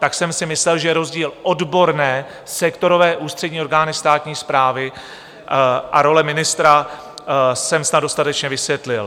Tak jsem si myslel, že rozdíl odborné sektorové ústřední orgány státní správy a role ministra jsem snad dostatečně vysvětlil.